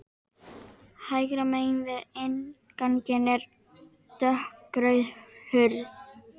Hægra megin við innganginn er dökkrauð hurð.